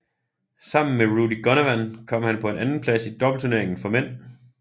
Sammen med Rudy Gunawan kom han på en andenplads i doubleturneringen for mænd